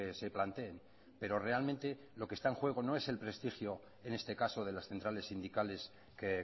se planteen pero realmente lo que está en juego no es el prestigio en este caso de las centrales sindicales que